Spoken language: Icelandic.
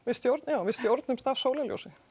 já við stjórnumst af sólarljósi